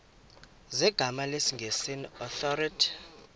zegama lesngesn authorit